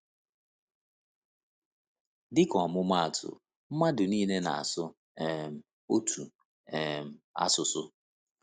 Dịka ọmụmaatụ, mmadụ niile na-asụ um otu um asụsụ.